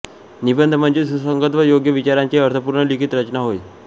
निबंध म्हणजे सुसंगत व योग्य विचारांची अर्थपूर्ण लिखित रचना होय